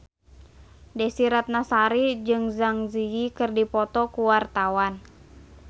Desy Ratnasari jeung Zang Zi Yi keur dipoto ku wartawan